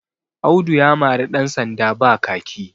Audu ya mari ɗansanda ba kaki